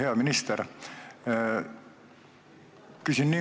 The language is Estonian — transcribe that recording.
Hea minister!